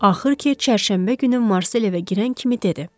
Axır ki, çərşənbə günü Marsel evə girən kimi dedi: